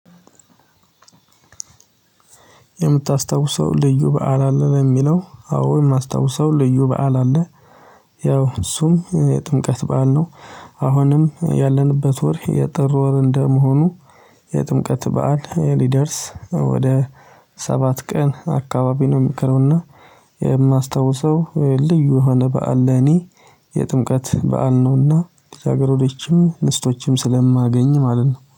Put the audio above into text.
የምታስታውሰው ልዩ በዓል አለ? ነው የሚለው አዎ የማስታውሰው ልዩ በዓል አለ። ያው እሱም የጥምቀት በዓል ነው። አሁንም ያለንበት ወር የጥር ወር እንደመሆኑ፤ የጥምቀት በዓል ሊደርስ ወደ ሰባት ቀን አካባቢ ነው የሚቀረው። እና የማስታውሰው ልዩ የሆነ በዓል ለኔ የጥምቀት በዓል ነውና ልጃገረዶችም ምስቶችም ስለማገኝ ማለት ነው።